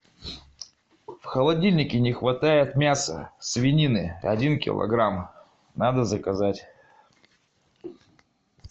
в холодильнике не хватает мяса свинины один килограмм надо заказать